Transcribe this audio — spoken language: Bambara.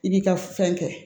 I b'i ka fɛn kɛ